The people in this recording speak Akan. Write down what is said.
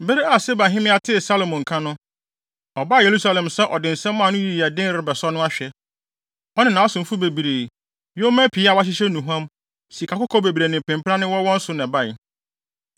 Bere a Seba hemmea tee Salomo nka no, ɔbaa Yerusalem sɛ ɔde nsɛm a anoyi yɛ den rebɛsɔ no ahwɛ. Ɔne nʼasomfo bebree, yoma pii a wɔahyehyɛ nnuhuam, sikakɔkɔɔ bebree ne mpempranne wɔ wɔn so na ɛbae.